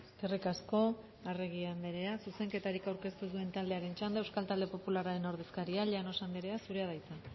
eskerrik asko arregi andrea zuzenketarik aurkeztu ez duen taldearen txanda euskal talde popularraren ordezkaria llanos andrea zurea da hitza